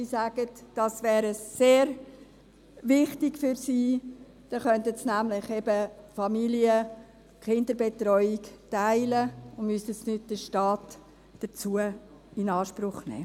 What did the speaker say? Sie sagen, dass dies sehr wichtig für sie sei, denn dann könnten sie sich die Kinderbetreuung teilen und müssten dazu nicht den Staat in Anspruch nehmen.